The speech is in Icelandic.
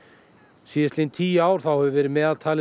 síðastliðin tíu ár hefur meðaltalið